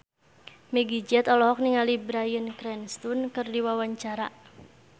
Meggie Z olohok ningali Bryan Cranston keur diwawancara